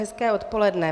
Hezké odpoledne.